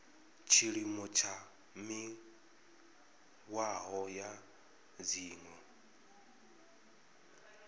tshiimo tsha mihwalo ya dzgmo